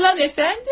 Yalan əfəndim!